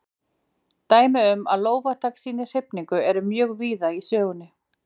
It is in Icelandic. Dæmi um að lófatak sýni hrifningu eru mjög víða í sögunni.